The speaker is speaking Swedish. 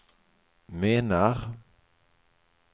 menar